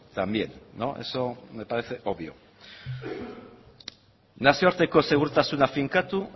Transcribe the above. también no eso me parece obvio nazioarteko segurtasuna finkatu